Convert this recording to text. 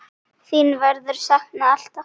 Þín verður saknað, alltaf.